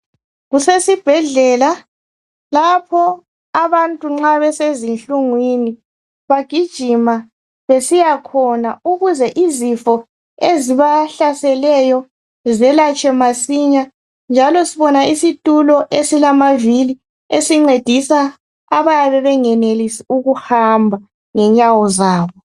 kusesibhedlela lapho abantu nxa besezinhlungwini bagijima besiyakhona ukuze izifo ezibahlaselayo zelatshwe masinya njalo sibona isitulo esilavili esincedisa abayabe bengenelisi ukuhamba